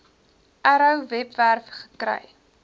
arrow webwerf gekry